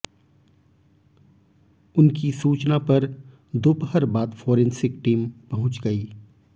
उनकी सूचना पर दोपहर बाद फोरेंसिक टीम पहुंच गई